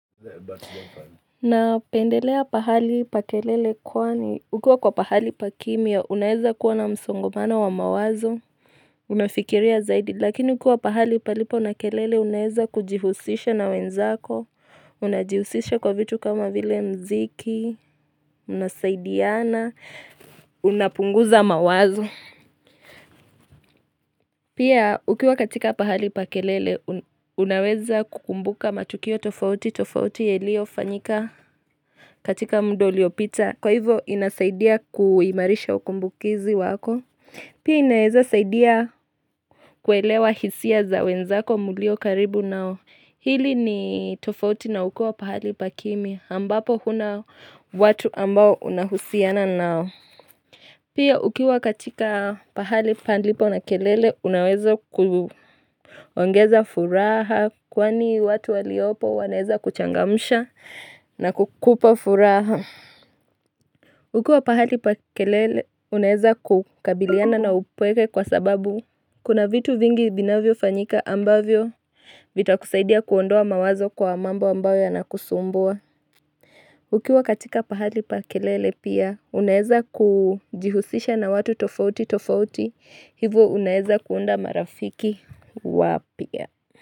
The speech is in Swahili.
Napendelea pahali pa kelele kwani, ukiwa kwa pahali pa kimya, unaeza kuwa na msongomano wa mawazo, unafikiria zaidi, lakini ukiwa pahali palipo na kelele, unaeza kujihusisha na wenzako, unajihusisha kwa vitu kama vile mziki, unasaidiana, unapunguza mawazo. Pia ukiwa katika pahali pa kelele, unaweza kukumbuka matukio tofauti, tofauti yeliyofanyika katika mda uliopita. Kwa hivyo inasaidia kuimarisha ukumbukizi wako. Pia inaweza saidia kuelewa hisia za wenzako mulio karibu nao. Hili ni tofauti na ukiwa pahali pa kimya. Ambapo huna watu ambao unahusiana nao. Pia ukiwa katika pahali palipo na kelele unaweza kuongeza furaha kwani watu waliopo wanaeza kuchangamsha na kukupa furaha. Ukiwa pahali pa kelele unaweza kukabiliana na upweke kwa sababu kuna vitu vingi vinavyofanyika ambavyo vitakusaidia kuondoa mawazo kwa mambo ambayo yanakusumbua. Ukiwa katika pahali pa kelele pia unaeza kujihusisha na watu tofauti tofauti Hivo unaeza kuunda marafiki wapya.